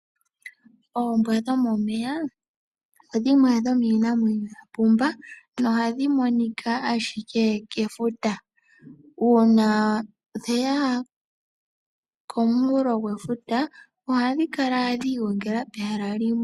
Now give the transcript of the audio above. Ombwa dhomomeya odhimwe dhomiinamwenyo ya pumba, nohadhi monika ashike kefuta. Uuna dheya komunkulo gwefuta, ohadhi kala dha igongela pehala limwe.